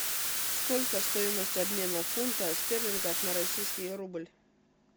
сколько стоимость обмена фунта стерлингов на российский рубль